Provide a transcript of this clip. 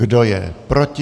Kdo je proti?